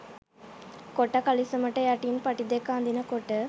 කොට කලිසමට යටින් පටි දෙක අදිනකොට.